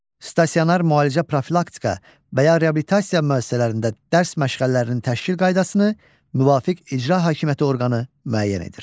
Stasionar müalicə, profilaktika və ya reabilitasiya müəssisələrində dərs məşğələlərinin təşkil qaydasını müvafiq icra hakimiyyəti orqanı müəyyən edir.